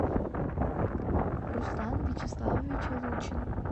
руслан вячеславович лучин